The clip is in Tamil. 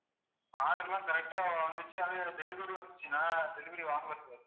order லாம் correct ஆ வந்துச்சு அது delivery வந்துச்சு நான் delivery வாங்கலை sir